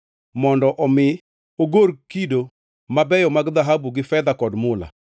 mondo omi ogor kido mabeyo mag dhahabu gi fedha kod mula,